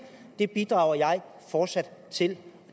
det bidrager jeg fortsat til